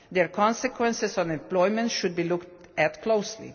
their consequences on employment should be looked at closely.